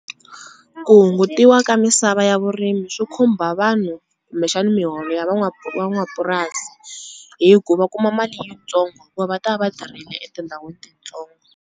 Ku hungutiwa ka misava ya vurimi swi khumba vanhu kumbexana miholo ya van'wamapurasi hi ku va kuma mali yitsongo hikuva va ta va tirhile etindhawini titsongo.